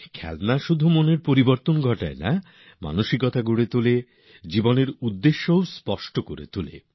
খেলনা শুধু মনই ফুরফুরে করে না খেলনা মন তৈরী করে উদ্দেশ্য গড়ে দেয়